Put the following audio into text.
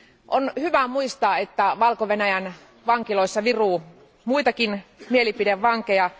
On hyvä muistaa, että Valko Venäjän vankiloissa viruu muitakin mielipidevankeja.